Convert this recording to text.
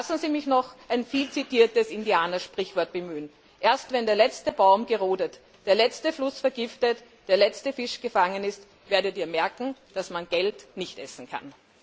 Lassen Sie mich noch ein vielzitiertes Indianersprichwort bemühen Erst wenn der letzte Baum gerodet, der letzte Fluss vergiftet, der letzte Fisch gefangen ist, werdet Ihr merken, dass man Geld nicht essen kann.